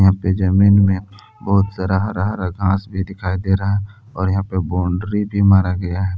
जमीन में बहुत सारा हरा हरा घास भी दिखाई दे रहा है और यहां पे बाउंड्री भी मारा गया है।